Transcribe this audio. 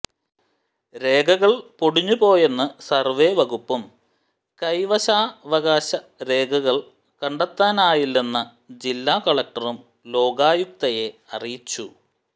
രേഖകൾ പൊടിഞ്ഞുപോയെന്ന് സർവേ വകുപ്പും കൈവശാവകാശ രേഖകൾ കണ്ടെത്താനായില്ലെന്ന് ജില്ലാ കലക്ടറും ലോകായുക്തയെ അറിയിച്ചു